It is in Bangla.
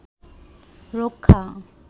রক্ষা